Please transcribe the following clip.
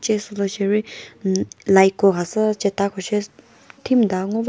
che sülü sheri umm light ko khasü chete koshi thimta ngo va.